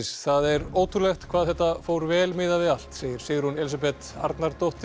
það er ótrúlegt hvað þetta fór vel miðað við allt segir Sigrún Elísabeth Arnardóttir